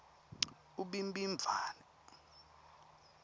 ubhimbidvwane